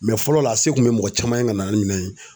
fɔlɔ la, a se kun be mɔgɔ caman ye ka na ni minɛn ye